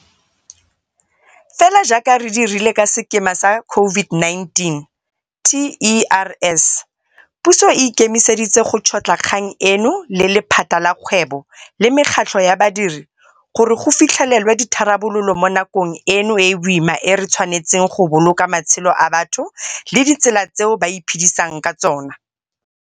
Fela jaaka re dirile ka sekema sa COVID-19 TERS, puso e ikemiseditse go tšhotlha kgang eno le lephata la kgwebo le mekgatlho ya badiri gore go fitlhelelwe ditharabololo mo nakong eno e e boima e re tshwanetseng go boloka matshelo a batho le ditsela tseo ba iphedisang ka tsona.